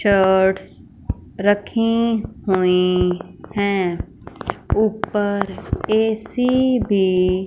shirts रखे हुए हैं ऊपर ए_सी भी--